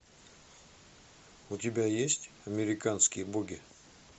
у тебя есть американские боги